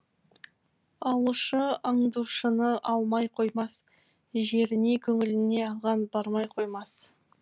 алушы аңдушыны алмай қоймас жеріне көңіліне алған бармай қоймас